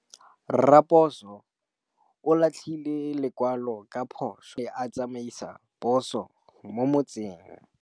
Raposo o latlhie lekwalô ka phosô fa a ne a tsamaisa poso mo motseng.